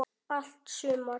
Allt sumar